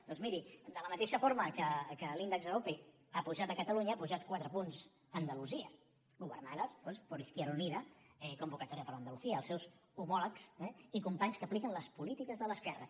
doncs miri de la mateixa forma que l’índex arope ha pujat a catalunya ha pujat quatre punts a andalusia governada per izquierda unida convocatoria por andalucía els seus homòlegs i companys que apliquen les polítiques de l’esquerra